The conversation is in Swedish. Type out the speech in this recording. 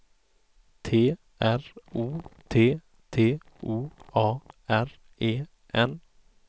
T R O T T O A R E N